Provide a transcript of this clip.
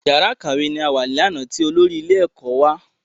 Yàrá ìkàwé ni a wà ní àná ti olórí ilé ẹ̀kọ́ wà ní àná